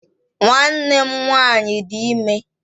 Nwanne m nwaanyị dị ime